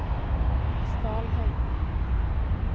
Stalheim